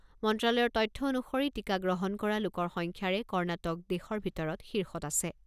মন্ত্ৰালয়ৰ তথ্য অনুসৰি টীকা গ্ৰহণ কৰা লোকৰ সংখ্যাৰে কৰ্ণাটক দেশৰ ভিতৰত শীৰ্ষত আছে।